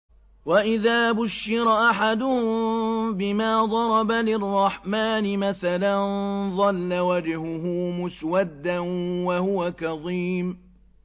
وَإِذَا بُشِّرَ أَحَدُهُم بِمَا ضَرَبَ لِلرَّحْمَٰنِ مَثَلًا ظَلَّ وَجْهُهُ مُسْوَدًّا وَهُوَ كَظِيمٌ